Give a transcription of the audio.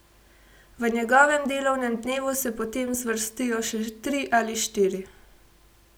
V njegovem delovnem dnevu se potem zvrstijo še tri ali štiri.